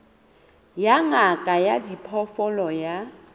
ya ngaka ya diphoofolo ya